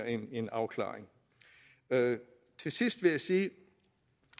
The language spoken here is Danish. en afklaring til sidst vil jeg sige